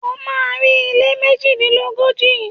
O má́a rí ilé méjìdínlógójì.